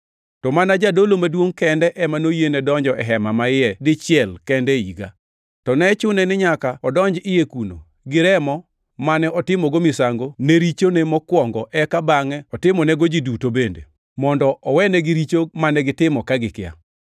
To mana jadolo maduongʼ kende ema noyiene donjo e hema maiye dichiel kende e higa, to nechune ni nyaka odonj iye kuno gi remo mane otimogo misango ne richone mokwongo eka bangʼe otimonego ji duto bende, mondo owenegi richo mane gitimo ka gikia.